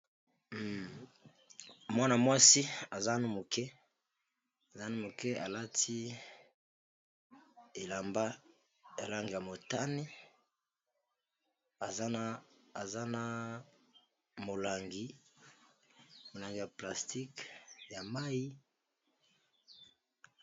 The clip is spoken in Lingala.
Mwana-mwasi azanu moke, aza nanu moke, alati elamba elange ya motane azana molangi ya plastiqe ya mayi.